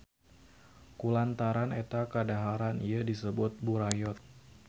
Kulantaran eta kadaharan ieu disebut burayot.